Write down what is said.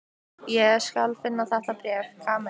Ég skal finna þetta bréf, Kamilla.